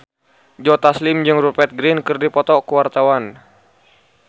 Joe Taslim jeung Rupert Grin keur dipoto ku wartawan